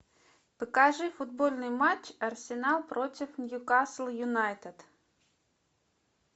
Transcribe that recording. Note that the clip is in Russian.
покажи футбольный матч арсенал против ньюкасл юнайтед